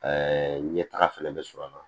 Ɛɛ ɲɛtaga fɛnɛ bɛ sɔrɔ a la